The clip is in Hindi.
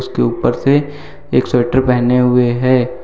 के ऊपर से एक स्वेटर पहने हुए है।